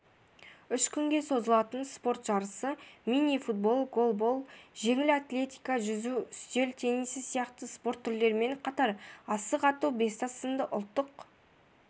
үш күнге созылатын спорт жарысы мини-футбол голбол жеңіл атлетика жүзу үстел теннисі сияқты спорт түрлерімен қатар асық ату бестас сынды ұлттық